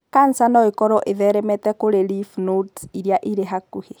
kanca no ĩkorũo ĩtheremete kũrĩ lymph nodes iria irĩ hakuhĩ.